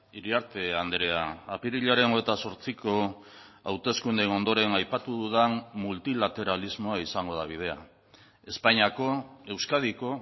iriarte andrea apirilaren hogeita zortziko hauteskundeen ondoren aipatu dudan multilateralismoa izango da bidea espainiako euskadiko